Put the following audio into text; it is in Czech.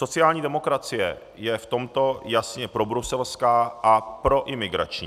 Sociální demokracie je v tomto jasně probruselská a proimigrační.